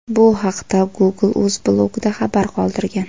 Bu haqda Google o‘z blogida xabar qoldirgan .